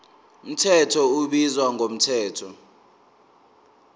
mthetho ubizwa ngomthetho